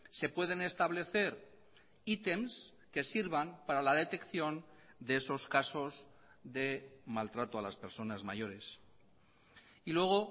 se pueden establecer items que sirvan para la detección de esos casos de maltrato a las personas mayores y luego